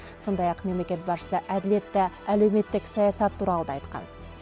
сондай ақ мемлекет басшысы әділетті әлеуметтік саясат туралы да айтқан